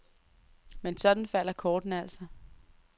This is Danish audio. Men sådan falder kortene altså.